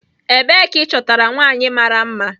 Ebee ka ịchọtara nwanyị mara mma?